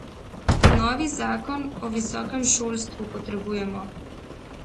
Novi zakon o visokem šolstvu potrebujemo.